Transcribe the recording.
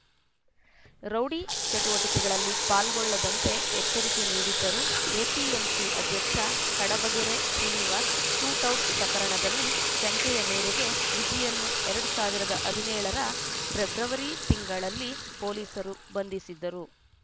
rowdy ಚಟುವಟಿಕೆಗಳಲ್ಲಿ ಪಾಲ್ಗೊಳ್ಳದಂತೆ ಎಚ್ಚರಿಕೆ ನೀಡಿದ್ದರು ಎಪಿಎಂಸಿ ಅಧ್ಯಕ್ಷ ಕಡಬಗೆರೆ ಶ್ರೀನಿವಾಸ್‌ ಶೂಟೌಟ್‌ ಪ್ರಕರಣದಲ್ಲಿ ಶಂಕೆಯ ಮೇರೆಗೆ ವಿಜಿಯನ್ನು ಎರಡ್ ಸಾವಿರದ ಹದಿನೇಳ ರ ಫೆಬ್ರವರಿ ತಿಂಗಳಲ್ಲಿ ಪೊಲೀಸರು ಬಂಧಿಸಿದ್ದರು